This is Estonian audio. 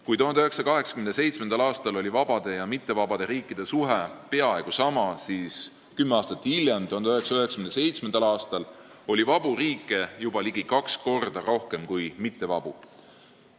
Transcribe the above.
Kui 1987. aastal oli vabade ja mittevabade riikide suhe peaaegu võrdne, siis kümme aastat hiljem, 1997. aastal, oli vabu riike juba ligi kaks korda rohkem kui mittevabu.